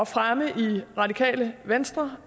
fremme i radikale venstre